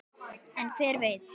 En hver veit?